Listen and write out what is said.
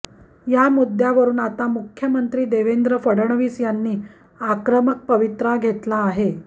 या मुद्द्यावरून आता मुख्यमंत्री देवेंद्र फडणवीस यांनी आक्रमक पवित्रा घेतला आहे